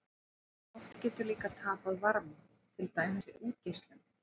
En loft getur líka tapað varma, til dæmis við útgeislun.